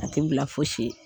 A tɛ bila fosi ye